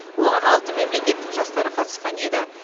оған алты мемлекеттің жастары қатысқан еді